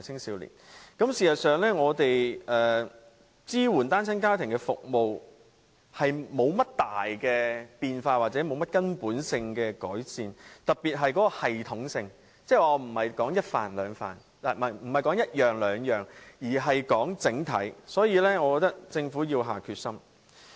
事實上，我們支援單親家庭的服務多年來沒有大變化或者根本性的改善，特別是在系統上，我指的不是一兩項措施，而是整體而言。